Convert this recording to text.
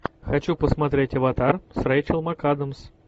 хочу посмотреть аватар с рэйчел макадамс